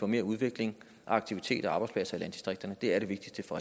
mere udvikling og aktivitet arbejdspladser i landdistrikterne det er det vigtigste for